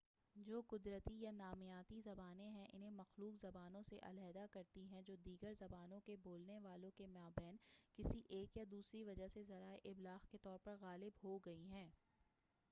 جو قدرتی یا نامیاتی زبانیں ہیں انہیں مخلوط زبانوں سے علاحدہ کرتی ہیں جو دیگر زبانوں کے بولنے والوں کے مابین کسی ایک یا دوسری وجہ سے ذرائع ابلاغ کے طور پر غالب ہو گئی ہیں